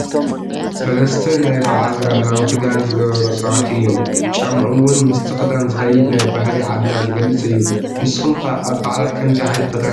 3 ናይ ባዓል ባህላዊ ክዳን ዝገበሩ ሰባት እዮም፡፡ ጫምኦም ውን ምስቲ ክዳን ዝኸይድ ናይ ባህሊ ዓድና ዝገልፅ እዩ፡፡ ንስኹም ከ ኣብ ባዓላት ከምዚ ዓይነት ክዳን ዶ ትኽደኑ?